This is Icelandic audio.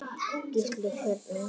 Gísli: Hvernig?